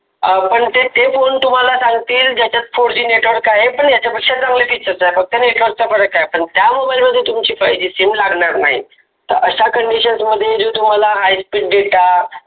अं पण ते तेच सांगतील तुम्हाला fourGnetwork आहे पण याच्यापेक्षा चांगले features आहे. network च फरक आहे. पण त्या, mobile मध्ये तुमची sim लागणार नाही.